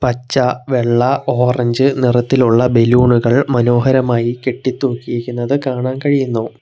പച്ച വെള്ള ഓറഞ്ച് നിറത്തിലുള്ള ബലൂണുകൾ മനോഹരമായി കെട്ടിത്തൂക്കിയിരിക്കുന്നത് കാണാൻ കഴിയുന്നു.